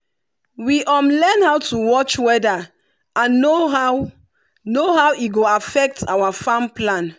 we learn how to watch weather and know how know how e go affect our farm plan.